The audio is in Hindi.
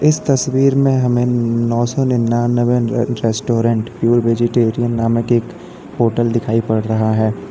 इस तस्वीर में हमें नौ सौ निन्यानबे रेस्टोरेंट प्योर वेजीटेरियन नामक एक होटल दिखाई पड़ रहा है।